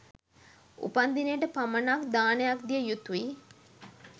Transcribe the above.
උපන්දිනේට පමනක් දානයක් දියයුතුයි